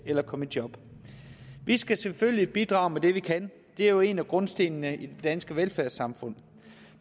eller komme i job vi skal selvfølgelig bidrage med det vi kan det er jo en af grundstenene i det danske velfærdssamfund